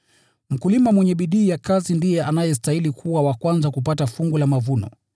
Mkulima mwenye bidii ya kazi ndiye anayestahili kuwa wa kwanza kupata fungu la mavuno.